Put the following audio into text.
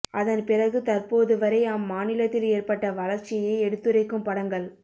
அதன் பிறகு தற்போது வரை அம்மாநிலத்தில் ஏற்பட்ட வளர்ச்சியை எடுத்துரைக்கும் படங்கள்